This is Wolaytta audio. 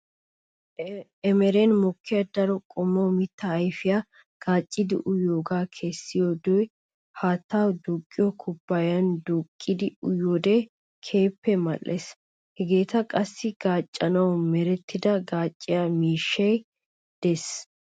Eremen mokkiya daro qommo mittaa ayfeta gaaccidi uyyiyoogaa keessidoogee haatta duuqqiyoo kubayan duuqqidi uyiyoode keehippe mal"ees. Hageeta qassi gaaccanawu merettida gaacciya miishshay de'ees.